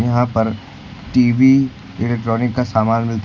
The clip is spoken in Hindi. यहां पर टी_वी इलेक्ट्रॉनिक का सामान मिलता--